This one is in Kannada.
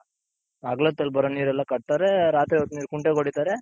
ಹಗಲೊತ್ತಲ್ಲಿ ಬರೋ ನೀರೆಲ್ಲಾ ಕಟ್ತಾರೆ ರಾತ್ರಿ ಹೊತ್ತ್ ನೀರ್ ಕುಂಟೆಗ್ ಹೊಡಿತಾರೆ.